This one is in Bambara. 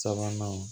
Sabanan